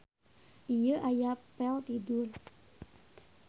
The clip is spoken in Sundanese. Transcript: Ieu aya pel tidur.